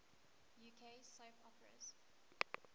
uk soap operas